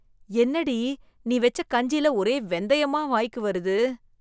என்னடி, நீ வெச்ச கஞ்சில ஒரே வெந்தயமா வாய்க்கு வருது?